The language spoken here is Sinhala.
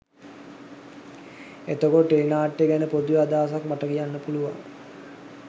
එතකොට ටෙලි නාට්‍ය ගැන පොදුවේ අදහසක් මට කියන්න පුළුවන්